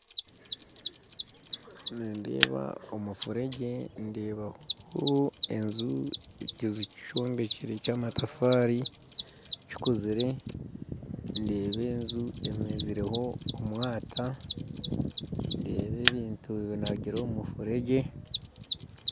Nindeeba omufuregye ndeebaho enju ekiju kyombekere kya amatafari kikuzire ndeeba enju emezereho omwata ndeeba ebintu binagire omu mufulegye